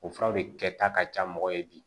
O furaw de kɛta ka ca mɔgɔ ye bi